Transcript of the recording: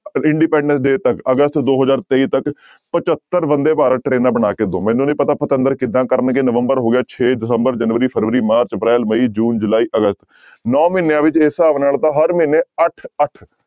Independence day ਤੱਕ ਅਗਸਤ ਦੋ ਹਜ਼ਾਰ ਤੇਈ ਤੱਕ ਪਜੱਤਰ ਬੰਦੇ ਭਾਰਤ ਟਰੇਨਾਂ ਬਣਾ ਕੇ ਦਓ, ਮੈਨੂੰ ਨੀ ਪਤਾ ਪਤੰਦਰ ਕਿੱਦਾਂ ਕਰਨਗੇ ਨਵੰਬਰ ਹੋ ਗਿਆ ਛੇ ਦਸੰਬਰ, ਜਨਵਰੀ, ਫਰਵਰੀ, ਮਾਰਚ, ਅਪ੍ਰੈਲ, ਮਈ, ਜੂਨ, ਜੁਲਾਈ, ਅਗਸਤ ਨੋਂ ਮਹੀਨਿਆਂ ਵਿੱਚ ਇਸ ਹਿਸਾਬ ਨਾਲ ਤਾਂ ਹਰ ਮਹੀਨੇ ਅੱਠ ਅੱਠ